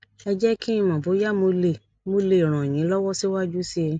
ẹ jé kí n mọ bóyá mo lè mo lè ràn yín lọwọ síwájú sí i